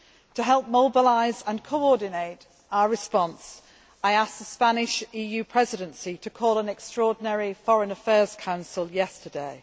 To help mobilise and coordinate our response, I asked the Spanish EU Presidency to call an extraordinary Foreign Affairs Council yesterday.